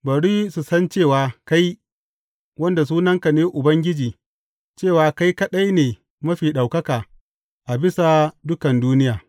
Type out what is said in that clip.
Bari su san cewa kai, wanda sunansa ne Ubangiji, cewa kai kaɗai ne Mafi Ɗaukaka a bisa dukan duniya.